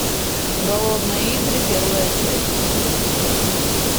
голодные игры первая часть